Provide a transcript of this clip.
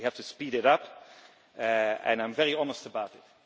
We have to speed it up and I am very honest about it.